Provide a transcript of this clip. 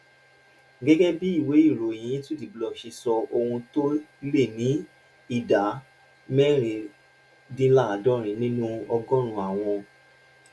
gégé bí ìwé ìròyìn into the block ṣe sọ ohun tó lé ní ìdá mẹrìndínláàádórin nínú ọgórùnún àwọn